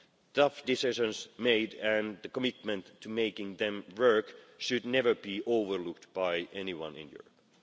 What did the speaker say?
Tough decisions made and the commitment to making them work should never be overlooked by anyone in Europe.